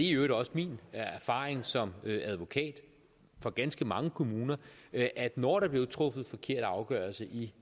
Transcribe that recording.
i øvrigt også min erfaring som advokat for ganske mange kommuner at når der blev truffet forkerte afgørelser i